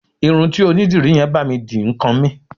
Irun tí onídìrí yẹn bá mi dì ń kan mí.